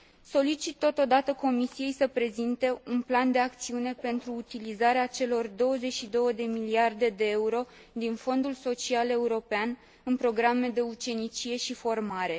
Solicit totodată Comisiei să prezinte un plan de acțiune pentru utilizarea celor 22 de miliarde de euro din Fondul social european în programe de ucenicie și formare.